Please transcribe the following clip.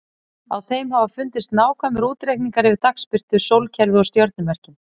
Á þeim hafa fundist nákvæmir útreikningar yfir dagsbirtu, sólkerfið og stjörnumerkin.